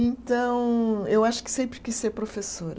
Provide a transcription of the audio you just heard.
Então, eu acho que sempre quis ser professora.